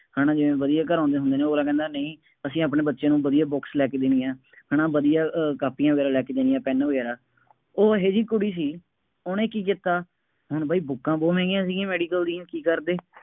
ਉਹਨਾ ਨਾਲ ਜਿਵੇਂ ਵਧੀਆਂ ਘਰੋਂ ਆਉਂਦੇ ਹੁੰਦੇ ਨੇ, ਉਹ ਅਗਲਾ ਕਹਿੰਦਾ ਨਹੀਂ, ਅਸੀਂ ਆਪਣੇ ਬੱਚਿਆਂ ਨੂੰ ਵਧੀਆਂ books ਲੈ ਕੇ ਦੇਣੀਆਂ, ਹੈ ਨਾ ਵਧੀਆਂ ਅਹ ਕਾਪੀਆਂ ਵਗੈਰਾ ਲੈ ਕੇ ਦੇਣੀਆਂ, ਪੈੱਨ ਵਗੈਰਾ, ਉਹ ਇਹੋ ਜਿਹੀ ਕੁੜੀ ਸੀ, ਉਹਨੇ ਕੀ ਕੀਤਾ, ਹੁਣ ਬਾਈ ਬੁੱਕਾਂ ਬਹੁਤ ਮਹਿੰਗੀਆਂ ਸੀਗੀਆਂ ਮੈਡੀਕਲ ਦੀਆਂ, ਕੀ ਕਰਦੇ ਹੈ ਨਾ,